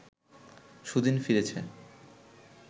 সুদিন ফিরেছে